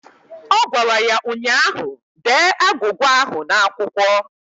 Ọ gwara ya ụnyaahụ "Dee agwụgwa ahụ n'akwụkwọ"!